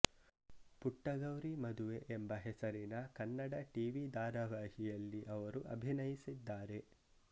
ಪುಟ್ಟಗೌರಿ ಮದುವೆ ಎಂಬ ಹೆಸರಿನ ಕನ್ನಡ ಟವಿ ಧಾರವಾಹಿಯಲ್ಲಿ ಅವರು ಅಭಿನಯಸಿದ್ದಾರೆ